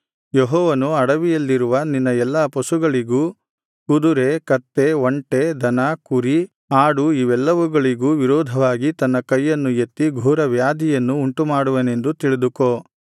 ಯೆಹೋವನು ಅಡವಿಯಲ್ಲಿರುವ ನಿನ್ನ ಎಲ್ಲಾ ಪಶುಗಳಿಗೂ ಕುದುರೆ ಕತ್ತೆ ಒಂಟೆ ದನ ಕುರಿ ಆಡು ಇವೆಲ್ಲವುಗಳಿಗೂ ವಿರೋಧವಾಗಿ ತನ್ನ ಕೈಯನ್ನು ಎತ್ತಿ ಘೋರವ್ಯಾಧಿಯನ್ನು ಉಂಟುಮಾಡುವನೆಂದು ತಿಳಿದುಕೋ